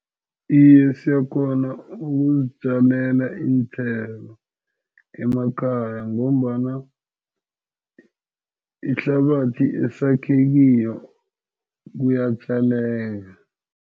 Iye, siyakghona ukuzitjalela iinthelo emakhaya ngombana ihlabathi esakhe kiyo iyatjaleka.